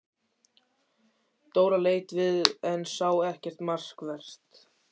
Dóra leit við en sá ekkert markvert.